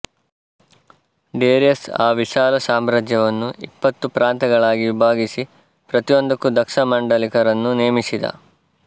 Darius ಆ ವಿಶಾಲ ಸಾಮ್ರಾಜ್ಯವನ್ನು ಇಪ್ಪತ್ತು ಪ್ರಾಂತಗಳಾಗಿ ವಿಭಾಗಿಸಿ ಪ್ರತಿಯೊಂದಕ್ಕೂ ದಕ್ಷ ಮಾಂಡಲಿಕರನ್ನು ನೇಮಿಸಿದ